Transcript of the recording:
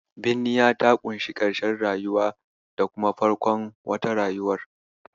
Binniya ta ƙunshi karshen rayuwa da kuma farkon wata rayuwar.